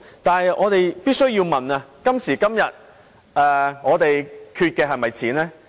然而，我們必須要問，今時今日，我們是否缺錢？